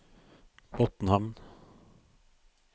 Botnhamn